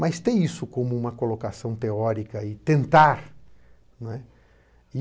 Mas ter isso como uma colocação teórica e tentar, né,